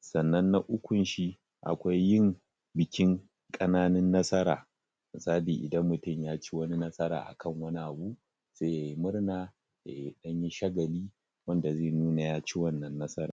sannan na ukunshi akwai yin bikin kananun nsara misali idan mutum ya ci wani nasara a kan wani abu sai yai murna yai dan shagali wanda zai nuna ya ci wannan nasaran